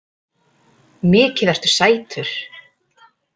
Mikið ertu sætur.